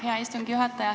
Hea istungi juhataja!